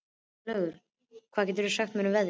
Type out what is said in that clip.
Herlaugur, hvað geturðu sagt mér um veðrið?